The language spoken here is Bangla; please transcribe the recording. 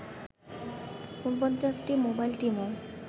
৪৯টি মোবাইল টিমও